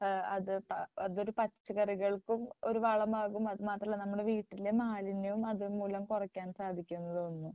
ഏഹ് അത് അതൊരു പച്ച ഒരു പച്ചക്കറികൾക്കും ഒരു വളമാകും അത് മാത്രമല്ല നമ്മുടെ വീട്ടിലെ മാലിന്യങ്ങളും അതുമൂലം കുറയ്ക്കാൻ സാധിക്കും എന്ന് തോന്നുന്നു.